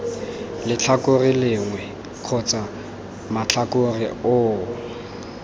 letlhakore lengwe kgotsa matlhakore oo